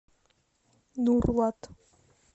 нурлат